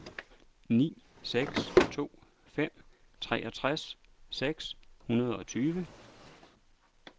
ni seks to fem treogtres seks hundrede og tyve